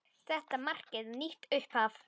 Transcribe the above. Þetta markaði nýtt upphaf.